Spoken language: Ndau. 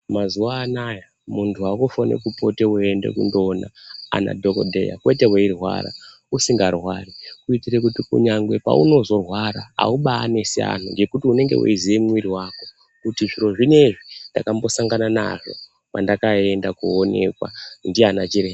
Mazuwa anaya muntu wakufane kupote weinde kunoona ana dhokodheya kwete weirwara usingarwari kuitira kuti kunyangwe paunozorwara haubanesi vantu ngekuti unenge weiziye mwiri wako kuti zviro zvinezvi ndakambosangama nazvo pandakaenda koonekwa ndiana chiremba.